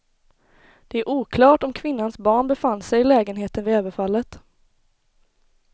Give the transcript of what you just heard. Det är oklart om kvinnans barn befann sig i lägenheten vid överfallet.